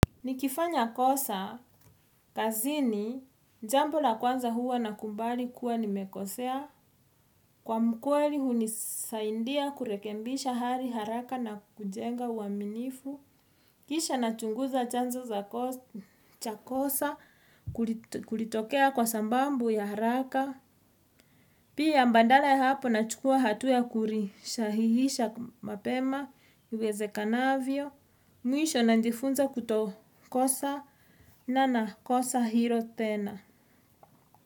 Nikifanya kosa, kazini, jambo la kwanza huwa na kubali kuwa nimekosea. Kuwa mkweli hunisaidia kurekebisha hali haraka na kujenga uaminifu. Kisha nachunguza chanzo za chakosa, kulitokea kwa sababu ya haraka. Pia mbadala ya hapo na chukua hatua ya kuli sahihisha mapema, iwezekanavyo. Mwisho na jiifunza kuto kosa na na kosa hilo tena.